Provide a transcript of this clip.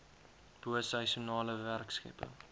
bo seisoenale werkskepping